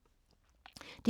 DR1